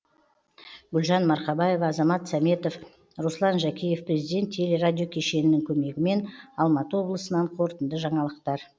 гүлжан марқабаева азамат сәметов руслан жәкеев президент телерадиокешенінің көмегімен алматы облысынан қорытынды жаңалықтар